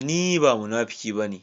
Ni ba munafuki ba ne.